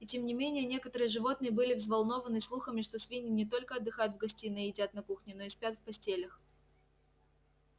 и тем не менее некоторые животные были взволнованы слухами что свиньи не только отдыхают в гостиной и едят на кухне но и спят в постелях